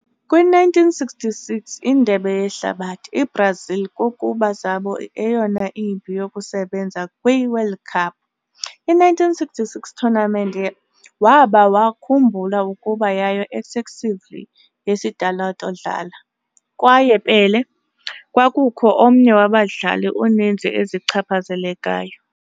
Kwi - 1966 Indebe Yehlabathi, i-Brazil kokuba zabo eyona imbi yokusebenza kwi World Cup. I-1966 tournament waba wakhumbula kuba yayo excessively yesitalato dlala, kwaye Pelé kwakukho omnye abadlali uninzi ezichaphazelekayo.